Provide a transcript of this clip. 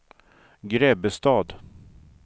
Grebbestad